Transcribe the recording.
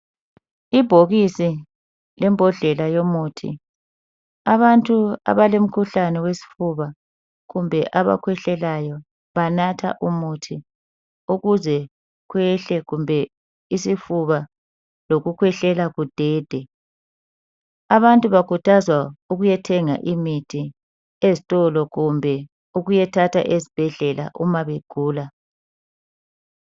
Ibhokisi lembodlela yomuthi abantu abalemkhuhlane wesifuba kumbe abakhwehlelayo banatha umuthi ukuze kwehle kumbe isifuba lokukhwehlela kudede abantu bakhuthazwa ukuyathenga imithi ezitolo kumbe ukuyethatha ezibhedlela uma begula.